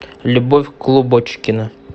любовь клубочкина